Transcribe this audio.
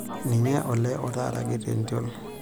Ninye olee otaraki tentiol.